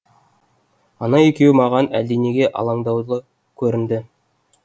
ана екеуі маған әлденеге алаңдаулы көрінді